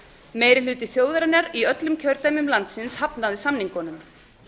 meiri hluti þjóðarinnar í öllum kjördæmum landsins hafnaði samningunum